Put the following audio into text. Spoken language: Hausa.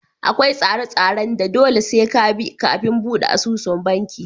Akwai tsare tsaren da dole sai ka bi kafin buɗe asusu a banki